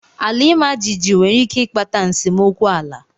Ala imajiji nwere ike ịkpata nsemokwu ala.